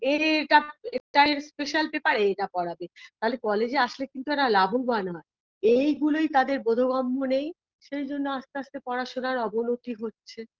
এই এটা এটার special papper এ এটা করাবে তাহলে college -এ আসলে কিন্তু এর লাভবান হয় এইগুলোই তাদের বোধগম্য নেই সেই জন্য আস্তে আস্তে পড়াশোনার অবনতি হচ্ছে